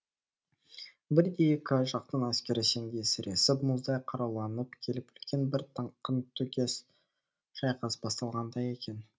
бірде екі жақтың әскері сеңдей сіресіп мұздай қаруланып келіп үлкен бір қантөгіс шайқас басталғандай екен